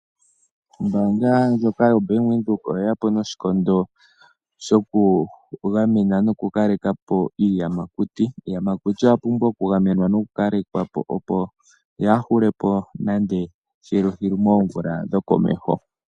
Ombanga ndjoka yaVenduka oye yapo noshikondo shoku gamena noku kalekapo iiyamakuti. Iiyamakuti oya pumbwa oku gamenwa noku kalekwapo opo yaahulepo moomvula dhokomesho.